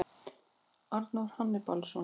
Arnór Hannibalsson.